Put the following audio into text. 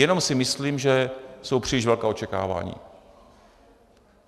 Jenom si myslím, že jsou příliš velká očekávání.